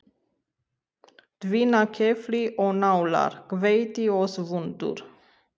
Tvinnakefli og nálar, hveiti og svuntur.